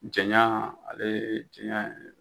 Jɛnya ale ye jɛnya ye.